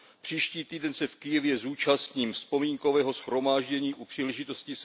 Příští týden se v Kyjevě zúčastním vzpomínkového shromáždění u příležitosti